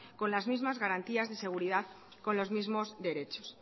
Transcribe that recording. con las mismas garantías de seguridad con los mismos derechos